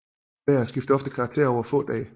Vejret skifter ofte karakter over få dag